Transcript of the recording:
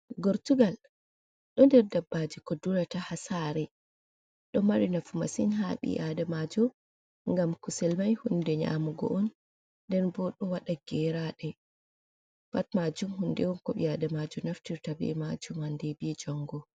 Gortugal ɗo ɗer ɗaɓɓaji ko ɗurata ha sare ɗo mari nafu masin ha ɓi’aɗamajo gam kusel mai hunɗe nyamugo on nɗen ɓo ɗo waɗa geraɗe pat majum hunɗe on ko ɓi'aɗamajo naftirta ɓie majum hanɗe ɓi jongo.